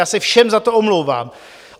Já se všem za to omlouvám.